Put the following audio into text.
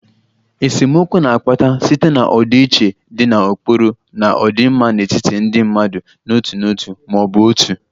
Esemokwu na-akpata site na ọdịiche dị na ụkpụrụ na ọdịmma n'etiti ndị mmadụ n'otu n'otu ma ọ bụ otu